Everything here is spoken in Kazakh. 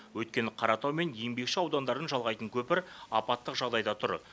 өйткені қаратау мен еңбекші аудандарын жалғайтын көпір апаттық жағдайда тұр